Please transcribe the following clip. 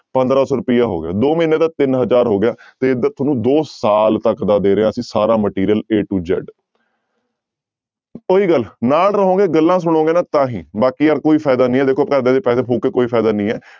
ਪੰਦਰਾਂ ਸੌ ਰੁਪਇਆ ਹੋ ਗਿਆ ਦੋ ਮਹੀਨੇ ਦਾ ਤਿੰਨ ਹਜ਼ਾਰ ਹੋ ਗਿਆ ਤੇ ਇੱਧਰ ਤੁਹਾਨੂੰ ਦੋ ਸਾਲ ਤੱਕ ਦਾ ਦੇ ਰਿਹਾ ਅਸੀਂ ਸਾਰਾ material a to z ਉਹੀ ਗੱਲ ਨਾਲ ਰਹੋਗੇ, ਗੱਲਾਂ ਸੁਣੋਗੇ ਨਾ ਤਾਂ ਹੀ, ਬਾਕੀ ਯਾਰ ਕੋਈ ਫ਼ਾਇਦਾ ਨੀ ਹੈ ਦੇਖੋ ਘਰਦਿਆਂ ਦੇ ਪੈਸੇ ਫ਼ੂਕ ਕੇ ਕੋਈ ਫ਼ਾਇਦਾ ਨੀ ਹੈ।